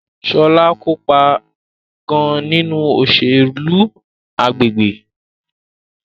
Shola kopa gan-an ninu oselu agbegbe